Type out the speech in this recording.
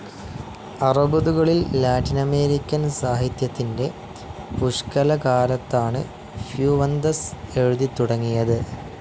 അറുപതുകളിൽ Latin American സാഹിത്യത്തിന്റെ പുഷ്‌കലകാലത്താണ് Fuentes എഴുതിത്തുടങ്ങിയത്.